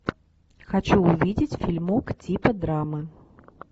хочу увидеть фильмок типа драмы